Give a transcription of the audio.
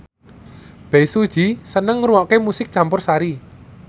Bae Su Ji seneng ngrungokne musik campursari